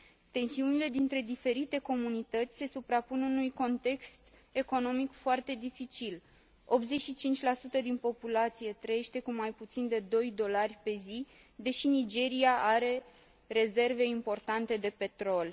Tensiunile dintre diferite comunități se suprapun unui context economic foarte dificil 85 din populație trăiește cu mai puțin de doi dolari pe zi, deși Nigeria are rezerve importante de petrol.